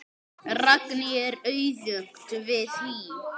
Fram vann sinn fyrsta titil.